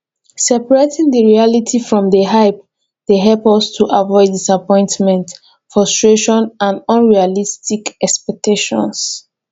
separating di reality from di hype dey help us to avoid disappointment frustration and unrealistic expectations